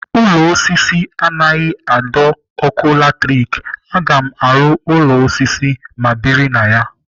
Ụlọ osisi anaghị adọ ọkụ latrik. Aga m aru ụlọ osisi ma biri na ya.